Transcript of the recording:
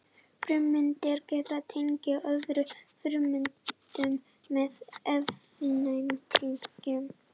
frumeindir geta tengst öðrum frumeindum með efnatengjum